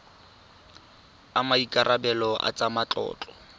a maikarebelo a tsa matlotlo